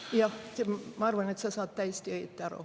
Jah, ma arvan, et sa saad täiesti õieti aru.